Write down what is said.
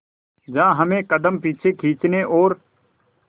जहां हमें कदम पीछे खींचने और